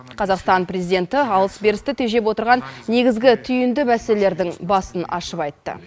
қазақстан президенті алыс берісті тежеп отырған негізгі түйінді мәселелердің басын ашып айтты